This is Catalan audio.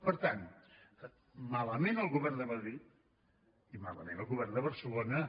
per tant malament el govern de madrid i malament el govern de barcelona